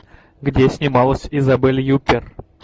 где снималась изабель юппер